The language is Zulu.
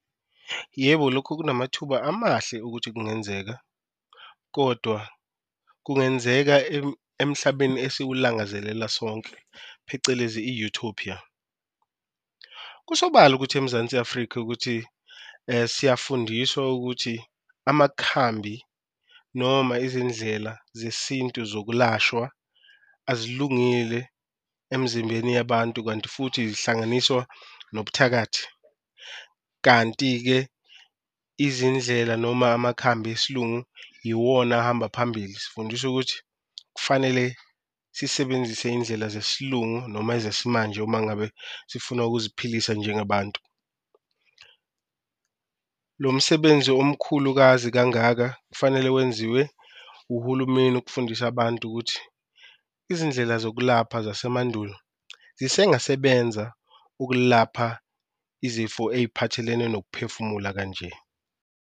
Yebo, lokhu kunamathuba amahle ukuthi kungenzeka kodwa kungenzeka emhlabeni esiwulangazelela sonke phecelezi i-Utopia. Kusobala ukuthi eMzansi Afrika ukuthi siyafundiswa ukuthi amakhambi noma izindlela zesintu zokulashwa azilungile emzimbeni yabantu, kanti futhi zihlanganiswa nobuthakathi. Kanti-ke izindlela noma amakhambi esiLungu iwona ahamba phambili, sifundiswa ukuthi kufanele sisebenzise indlela zesiLungu noma ezesimanje uma ngabe sifuna ukuziphilisa njengabantu. Lo msebenzi omkhulu ukwazi kangaka kufanele wenziwe uhulumeni ukufundisa abantu ukuthi, izindlela zokulapha zasemandulo zisengasebenza okulapha izifo eyiphathelene nokuphefumula kanje.